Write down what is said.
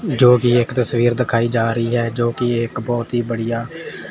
जोकि एक तस्वीर दिखाई जा रही है जोकि एक बहोत ही बढ़िया--